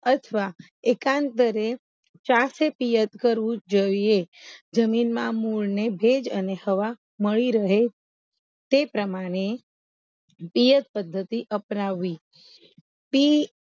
અથવા એકાંત દરે ચાસે તીયત કરવું જોઈએ જમીનમાં મૂળ ને ભેજ અને હવા મળી રહે તે પ્રમાણે તીયત પદ્ધતિ અપનાવવી તી